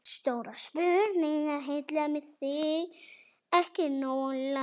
Nær það ekki nógu langt?